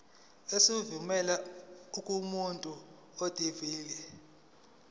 esivela kumuntu odilive